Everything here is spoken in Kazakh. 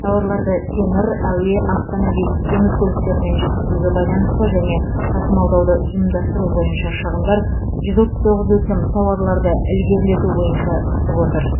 тауарларды темір әуе автомобиль теңіз көліктерімен жеткізуге байланысты және тасымалдауды ұйымдастыру бойынша шығындар жүз отыз тоғыз өтінім тауарларды ілгерілету бойынша түсіп отыр